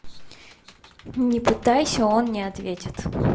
не пытайся он не ответит